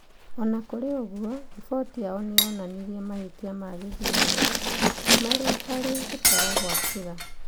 O na kũrĩ ũguo, riboti yao nĩ yonanirie mahĩtia ma gĩthurano. Marĩ harĩ gũtara gwa kura.